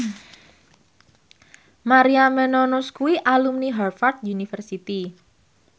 Maria Menounos kuwi alumni Harvard university